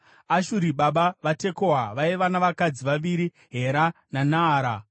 Ashuri baba vaTekoa vaiva navakadzi vaviri, Hera naNaara.